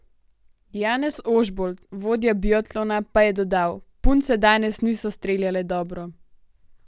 Janez Ožbolt, vodja biatlona pa je dodal: 'Punce danes niso streljale dobro.